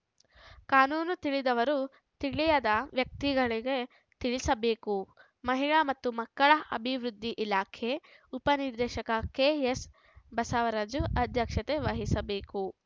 ಕಾನೂನು ತಿಳಿದವರು ತಿಳಿಯದ ವ್ಯಕ್ತಿಗಳಿಗೆ ತಿಳಿಸಬೇಕು ಮಹಿಳಾ ಮತ್ತು ಮಕ್ಕಳ ಅಭಿವೃದ್ಧಿ ಇಲಾಖೆ ಉಪನಿರ್ದೇಶಕ ಕೆಎಸ್ ಬಸವರಾಜಯ್ಯ ಅಧ್ಯಕ್ಷತೆ ವಹಿಸಬೇಕು